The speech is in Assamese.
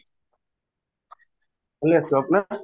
ভালে আছো, আপোনাৰ ?